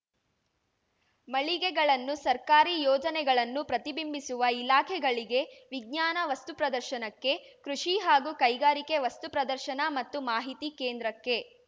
ಮಳಿಗೆಗಳನ್ನು ಸರ್ಕಾರಿ ಯೋಜನೆಗಳನ್ನು ಪ್ರತಿಬಿಂಬಿಸುವ ಇಲಾಖೆಗಳಿಗೆ ವಿಜ್ಞಾನ ವಸ್ತು ಪ್ರದರ್ಶನಕ್ಕೆ ಕೃಷಿ ಹಾಗೂ ಕೈಗಾರಿಕೆ ವಸ್ತು ಪ್ರದರ್ಶನ ಮತ್ತು ಮಾಹಿತಿ ಕೇಂದ್ರಕ್ಕೆ